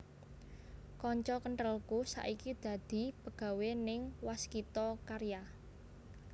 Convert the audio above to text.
Konco kenthelku saiki dadi pegawe ning Waskita Karya